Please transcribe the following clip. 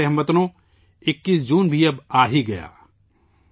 میرے پیارے ہم وطنو، 21 جون بھی اب آہی گیا ہے